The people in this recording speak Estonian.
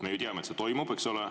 Me ju teame, et see toimub.